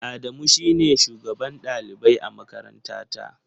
Adamu shi ne shugaban ɗalibai a makarantata.